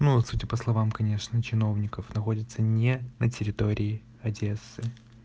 ну судя по словам конечно чиновников находится не на территории одессы